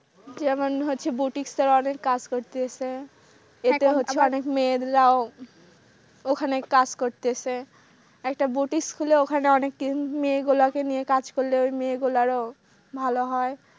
যেমন হচ্ছে বুটিক সালোয়ারের কাজ করতেছে আবার মেয়েরাও ওখানে কাজ করতেছে একটা বুটিক স্কুলে ওখানে অনেক টিম মেয়েগুলোকে নিয়ে কাজ করলে ওই মেয়েগুলো আরো ভালো হয়।